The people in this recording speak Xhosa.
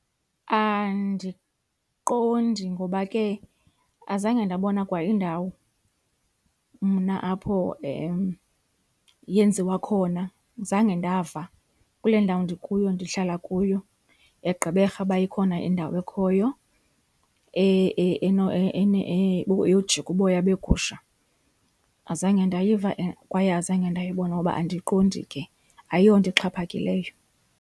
Andiqondi ngoba ke azange ndabona kwa indawo mna apho yenziwa khona, zange ndava kule ndawo ndikuyo ndihlala kuyo eGqeberha uba ikhona indawo ekhoyo eyojika uboya begusha. Azange ndayiva kwaye azange ndayibona ngoba andiqondi ke, ayonto ixhaphakileyo.